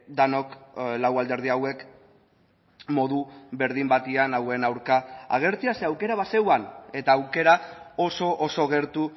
denok lau alderdi hauek modu berdin batean hauen aurka agertzea ze aukera bazegoen eta aukera oso oso gertu